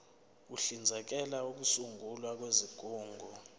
uhlinzekela ukusungulwa kwezigungu